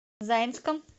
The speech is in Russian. заинском